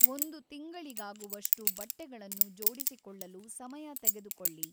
ಒಂದು ತಿಂಗಳಿಗಾಗುವಷ್ಟು ಬಟ್ಟೆಗಳನ್ನು ಜೋಡಿಸಿಕೊಳ್ಳಲು ಸಮಯ ತೆಗೆದುಕೊಳ್ಳಿ.